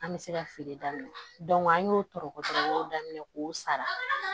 An bɛ se ka feere daminɛ an y'o tɔɔrɔtɔ o y'o daminɛ k'o sara